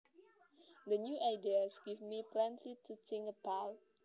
The new ideas give me plenty to think about